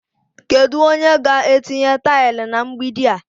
Kedu onye ga-etinye taịlị na mgbidi a?